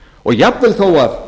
og jafnvel þó að